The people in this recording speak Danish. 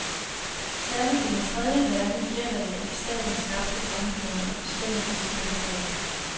Særligt i den tredje verden gælder det, at staten skabte samfundet og bestemte dets spilleregler.